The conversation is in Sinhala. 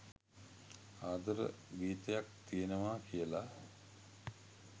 ආදර ගීතයක් තියෙනවා කියලා